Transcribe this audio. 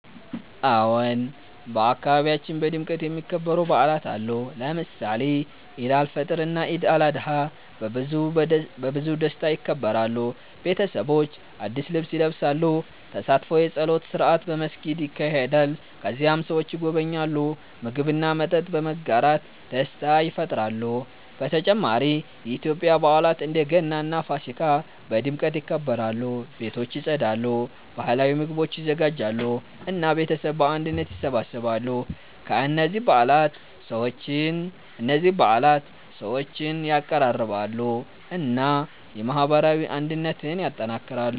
አዎን፣ በአካባቢያችን በድምቀት የሚከበሩ በዓላት አሉ። ለምሳሌ ኢድ አልፈጥር እና ኢድ አልአድሃ በብዙ ደስታ ይከበራሉ። ቤተሰቦች አዲስ ልብስ ይለብሳሉ፣ ተሳትፎ የጸሎት ስርዓት በመስጊድ ይካሄዳል። ከዚያም ሰዎች ይጎበኛሉ፣ ምግብ እና መጠጥ በመጋራት ደስታ ይፈጥራሉ። በተጨማሪ የኢትዮጵያ በዓላት እንደ ገና እና ፋሲካ በድምቀት ይከበራሉ። ቤቶች ይጸዳሉ፣ ባህላዊ ምግቦች ይዘጋጃሉ እና ቤተሰብ በአንድነት ይሰበሰባሉ። እነዚህ በዓላት ሰዎችን ያቀራርባሉ እና የማህበራዊ አንድነትን ያጠናክራሉ።